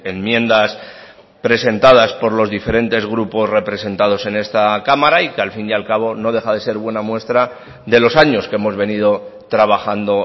enmiendas presentadas por los diferentes grupos representados en esta cámara y que al fin y al cabo no deja de ser buena muestra de los años que hemos venido trabajando